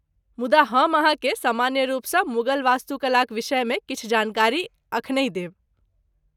मुदा हम अहाँकेँ सामान्य रूपसँ मुगल वास्तुकलाक विषयमे किछु जानकारी एखनहि देब।